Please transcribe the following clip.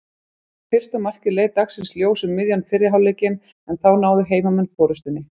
Fyrsta markið leit dagsins ljós um miðjan fyrri hálfleikinn en þá náðu heimamenn forystunni.